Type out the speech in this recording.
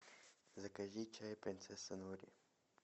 закажи чай принцесса нури